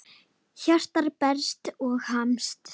Hjartað berst og hamast.